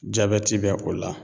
Jabɛti bɛ o la